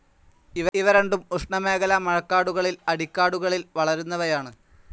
ഇവ രണ്ടും ഉഷ്ണമേഖലാ മഴക്കാടുകളിൽ അടിക്കാടുകളിൽ വളരുന്നവയാണ്.